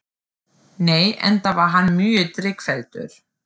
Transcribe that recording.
Nei, enda var hann mjög drykkfelldur